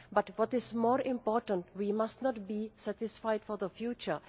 But what is more important is that we must not be satisfied for the future.